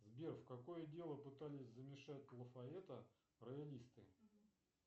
сбер в какое дело пытались замешать лафайета роялисты